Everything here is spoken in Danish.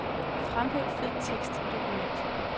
Fremhæv fed tekst i dokument.